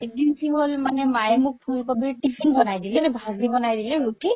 একদিন কি হ'ল মাইয়ে মোক ফুল কবিৰ tiffin বনাই দিলে দেই ভাজি বনাই দিলে দে ৰুতি